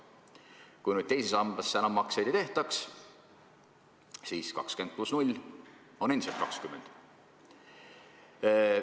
Kui teise sambasse enam makseid ei tehtaks, siis 20 pluss 0 on endiselt 20.